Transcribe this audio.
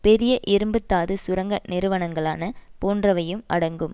பெரிய இரும்பு தாது சுரங்க நிறுவனங்களான போன்றவையும் அடங்கும்